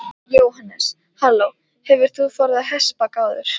Jóhannes: Halló, hefur þú farið á hestbak áður?